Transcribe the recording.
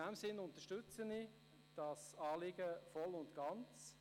In diesem Sinn unterstütze ich das Anliegen voll und ganz.